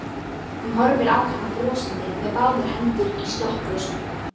Hún horfir á hann brosandi með báðar hendur í sloppvösunum.